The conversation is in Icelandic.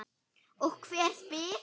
Og hver spyr?